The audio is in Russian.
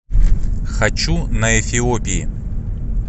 хочу на эфиопии